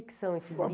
O que são esses